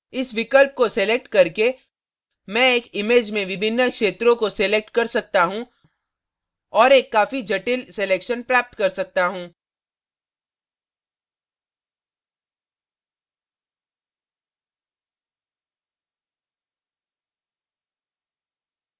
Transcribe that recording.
इस विकल्प को select करके मैं एक image में विभिन्न क्षेत्रों को select कर सकता हूँ और एक काफी जटिल selection प्राप्त कर सकता हूँ